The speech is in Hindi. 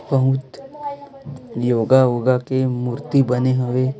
बहुत योगा ओगा के मूर्ति बने हुए--